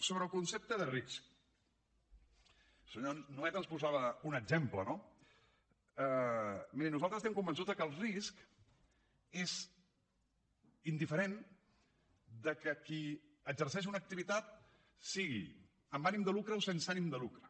sobre el concepte de risc el senyor nuet ens posava un exemple no miri nosaltres estem convençuts que el risc és indiferent del fet que qui exerceix una activitat sigui amb ànim de lucre o sense ànim de lucre